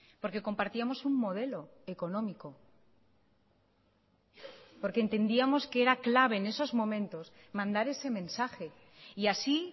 porque compartíamos un modelo económico porque entendíamos que era clave en esos momentos mandar ese mensaje y así